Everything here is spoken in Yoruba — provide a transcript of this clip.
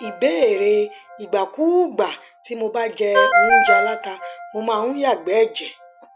ìbéèrè ìgbàkúùgbà tí mo bá jẹ óúnjẹ aláta mo máa ń yàgbé ẹjẹ